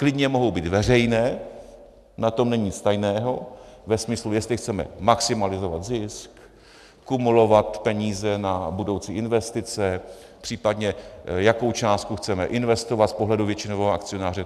Klidně mohou být veřejné, na tom není nic tajného ve smyslu, jestli chceme maximalizovat zisk, kumulovat peníze na budoucí investice, případně jakou částku chceme investovat z pohledu většinového akcionáře.